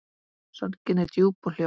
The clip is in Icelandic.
Sorgin er djúp og hljóð.